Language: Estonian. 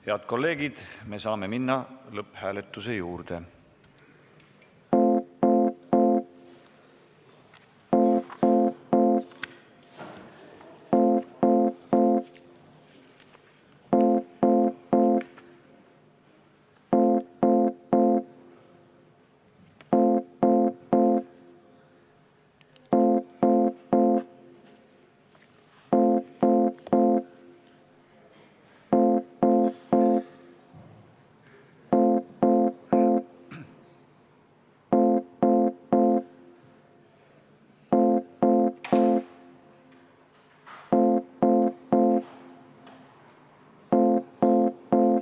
Head kolleegid, me saame minna lõpphääletuse juurde.